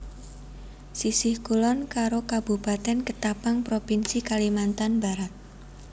Sisih kulon karo Kabupatèn Ketapang Propinsi Kalimantan Barat